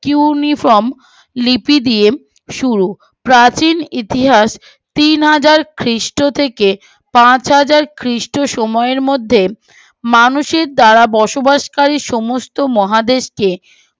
cuneiform লিপি দিয়ে শুরু প্রাচীন ইতিহাস তিনহাজার খৃস্ট থেকে পাঁচ হাজার খৃস্ট সময়ের মধ্যে মানুষের দ্বারা বসবাসকারী সমস্ত মহাদেশকে